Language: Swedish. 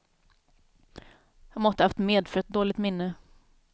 Jag måtte haft medfött dåligt minne.